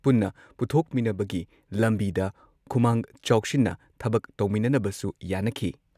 ꯄꯨꯟꯅ ꯄꯨꯊꯣꯛꯃꯤꯟꯅꯕꯒꯤ ꯂꯝꯕꯤꯗ ꯈꯨꯃꯥꯡ ꯆꯥꯎꯁꯤꯟꯅ ꯊꯕꯛ ꯇꯧꯃꯤꯟꯅꯅꯕꯁꯨ ꯌꯥꯟꯅꯈꯤ ꯫